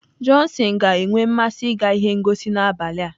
Johnson ga-enwe mmasị ịga ihe ngosi n'abalị a.